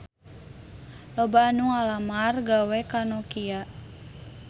Loba anu ngalamar gawe ka Nokia